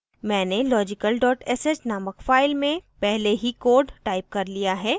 मैंने logical sh named file में पहले ही code टाइप कर लिया है